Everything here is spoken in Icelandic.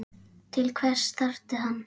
Til hvers þarftu hann?